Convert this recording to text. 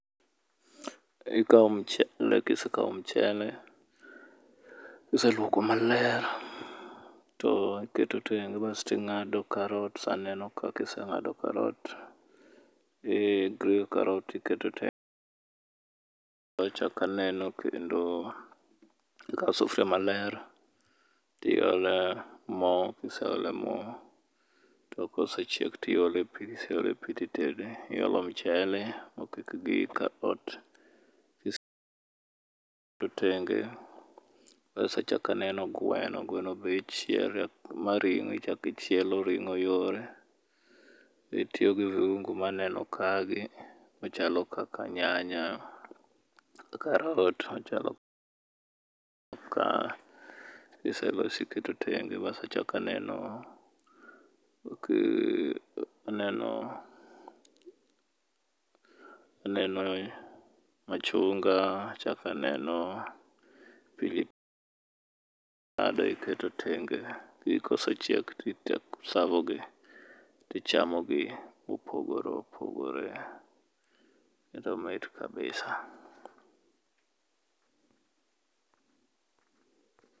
Ikawo mchele kisekawo mchele kiseluoko maler, to iketo tenge. Basto ing'ado karot, kiseng'ado karot iketo tenge. Achako aneno kendo, ikawo sufuria maler tiole mo, kiseole mo tokosechiek to iole pi kiseole to itede. Iole michele mokik gi karot to tenge kasto achako aneno gweno, gweno be ichielo ma ring'o ichako ichielo ring'o yore. Itiyo gi viungo maneno kaegi machalo kaka nyanya ,karot machalo kiseloso iketo tenge bas achako aneno aneno aneno machunga, achako aneno pili pile ing'ado iketo tenge. Kosechiek to i serve gi to ichamogi mopogore opogore. Kendo omit kabisa.